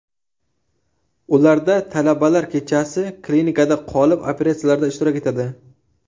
Ularda talabalar kechasi klinikada qolib, operatsiyalarda ishtirok etadi.